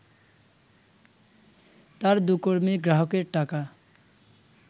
তার দু’কর্মী গ্রাহকের টাকা